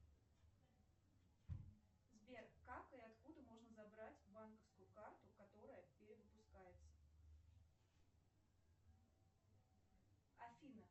сбер как и откуда можно забрать банковскую карту которая перевыпускается афина